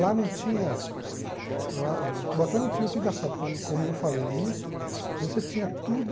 Lá não tinha lá... Em Cubatão não tinha o que gastar, porque, como eu falei no início, você tinha tudo...